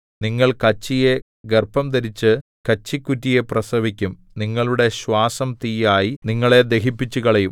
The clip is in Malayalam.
നിങ്ങൾ കച്ചിയെ ഗർഭംധരിച്ചു കച്ചികുറ്റിയെ പ്രസവിക്കും നിങ്ങളുടെ ശ്വാസം തീയായി നിങ്ങളെ ദഹിപ്പിച്ചുകളയും